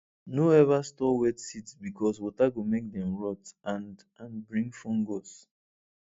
no ever store wet seeds because water go make dem rot and and bring fungus